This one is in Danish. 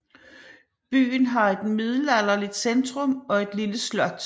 Byen har et middelalderlig centrum og et lille slot